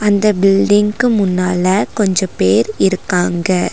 இந்த பில்டிங்க்கு முன்னால கொஞ்ச பேர் இருக்காங்க.